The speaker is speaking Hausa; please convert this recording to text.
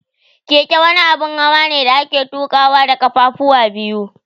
Keke wani abun hawane da ake tuƙawa da kafafuwa biyu.